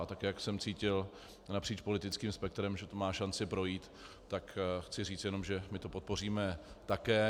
A tak jak jsem cítil napříč politickým spektrem, že to má šanci projít, tak chci říct jenom, že my to podpoříme také.